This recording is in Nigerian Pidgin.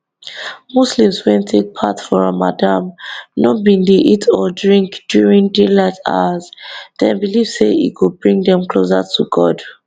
muslims wey take part for ramadan no bin dey eat or drink during daylight hours dem believe say e go bring dem closer to god